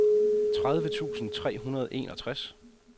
tredive tusind tre hundrede og enogtres